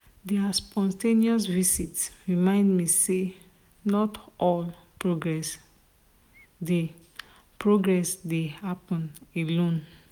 their spontaneous visit remind me say not all progress dey progress dey happen alone.